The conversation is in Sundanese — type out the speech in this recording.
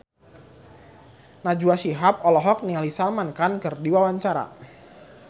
Najwa Shihab olohok ningali Salman Khan keur diwawancara